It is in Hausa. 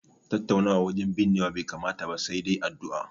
Tattaunawa wajen binnewa bai kamata ba, sai dai addu'a.